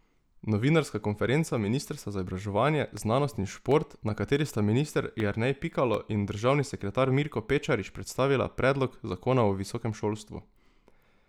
Novinarska konferenca ministrstva za izobraževanje, znanost in šport, na kateri sta minister Jernej Pikalo in državni sekretar Mirko Pečarič predstavila predlog zakona o visokem šolstvu.